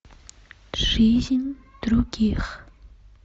жизнь других